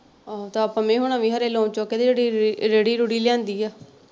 ਤਾਂ ਪੰਮੇ ਹੋਣਾ ਵੀ ਖਰੇ loan ਚੁੱਕ ਕੇ ਜਿਹੜੀ ਰੇਹੜੀ ਰੂੜੀ ਲਿਆਂਦੀ ਆ।